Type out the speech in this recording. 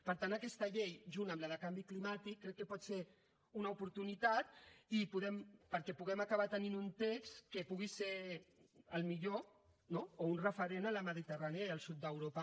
per tant aquesta llei junt amb la de canvi climàtic crec que pot ser una oportunitat perquè puguem acabar tenint un text que pugui ser el millor no o un referent a la mediterrània i al sud d’europa